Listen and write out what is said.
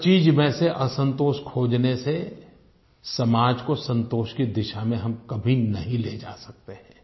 हर चीज़ में से असंतोष खोजने से समाज को संतोष की दिशा में हम कभी नहीं ले जा सकते हैं